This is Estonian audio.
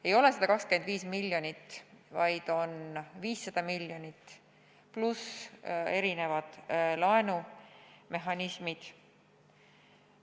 Ei ole 125 miljonit, vaid on 500 miljonit pluss erinevad laenumehhanismid.